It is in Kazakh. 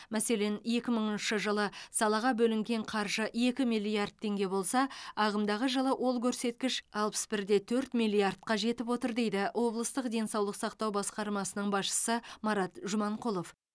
мәселен екі мыңыншы жылы салаға бөлінген қаржы екі миллиард теңге болса ағымдағы жылы ол көрсеткіш алпыс бір де төрт миллиардқа жетіп отыр дейді облыстық денсаулық сақтау басқармасының басшысы марат жұманқұлов